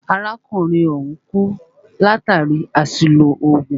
Arákùnrin ọ̀hùn kú látàri àṣìlò oògùn.